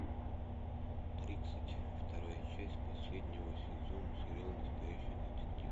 тридцать вторая часть последнего сезона сериала настоящий детектив